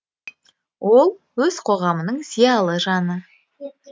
ол өз қоғамының зиялы жаны